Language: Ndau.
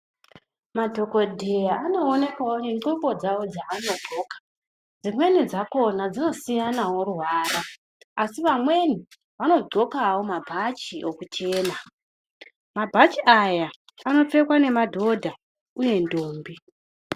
Madhokodheya anoonekwawo nendxoko dzavo dzavanodxoka. Dzimweni dzakona dzinosiyanawo ruvara, asi vamweni vanodxokawo mabhachi ekuchena. Mabhachi aya anopfekwa nemadhodha uye ndombi.